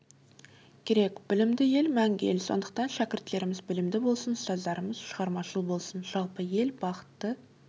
керек білімді ел мәңгі ел сондықтан шәкірттеріміз білімді болсын ұстаздарымыз шығармашыл болсын жалпы ел бақытты